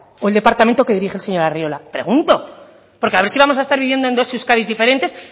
o el departamento que dirige el señor arriola pregunto porque a ver si vamos a estar viviendo en dos euskadis diferentes